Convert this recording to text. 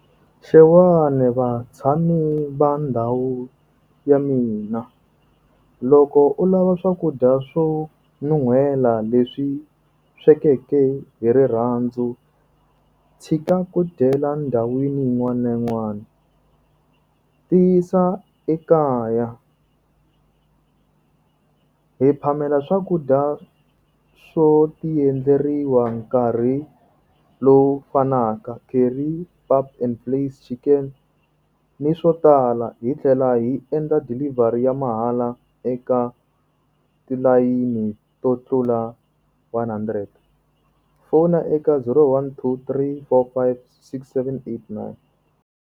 Xewani vatshami va ndhawu ya mina. Loko u lava swakudya swo nuhela leswi swekeke hi rirhandzu, tshika ku dyela ndhawini yin'wana na yin'wana. Tiyisa ekaya. Hi phamela swakudya swo ti endleriwa nkarhi lowu fanaka curry, pap and vleis, chicken ni swo tala. Hi tlhela hi endla delivery ya mahala eka tilayini to tlula one hundred. Fona eka zero one two three four five six seven eight nine.